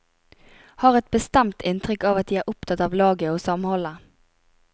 Har et bestemt inntrykk av at de er opptatt av laget og samholdet.